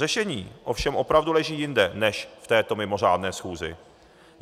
Řešení ovšem opravdu leží jinde než v této mimořádné schůzi.